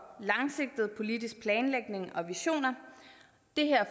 langsigtet politisk planlægning og visioner det her